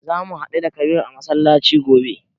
Za mu haɗu da Kabir a masallaci gobe.